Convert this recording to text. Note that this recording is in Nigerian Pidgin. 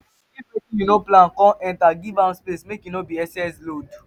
if wetin yu no plan con enter giv am space mek e no be excess load